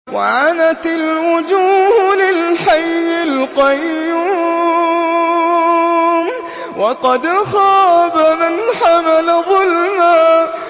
۞ وَعَنَتِ الْوُجُوهُ لِلْحَيِّ الْقَيُّومِ ۖ وَقَدْ خَابَ مَنْ حَمَلَ ظُلْمًا